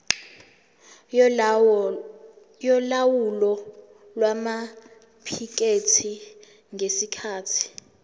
yolawulo lwamaphikethi ngesikhathi